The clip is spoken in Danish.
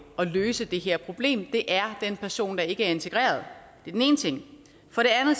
at løse det her problem det er en person der ikke er integreret